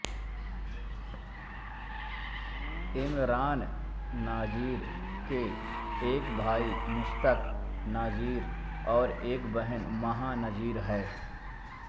इमरान नज़ीर के एक भाई मुश्ताक नज़ीर और एक बहन महा नज़ीर है